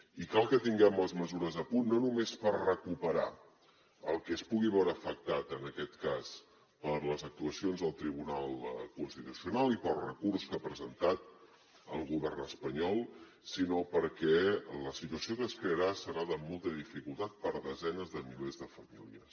i cal que tinguem les mesures a punt no només per recuperar el que es pugui veure afectat en aquest cas per les actuacions del tribunal constitucional i pel recurs que ha presentat el govern espanyol sinó perquè la situació que es crearà serà de molta dificultat per desenes de milers de famílies